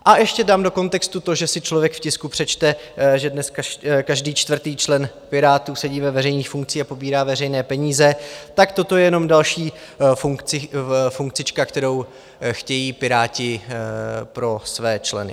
A ještě dám do kontextu to, že si člověk v tisku přečte, že dneska každý čtvrtý člen Pirátů sedí ve veřejných funkcích a pobírá veřejné peníze, tak toto je jenom další funkcička, kterou chtějí Piráti pro své členy.